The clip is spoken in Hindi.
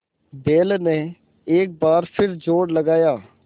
बैल ने एक बार फिर जोर लगाया